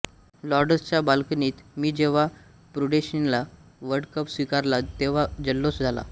लॉर्डसच्या बाल्कनीत मी जेव्हा प्रुडेन्शियल र्वल्डकप स्वीकारला तेव्हा जल्लोष झाला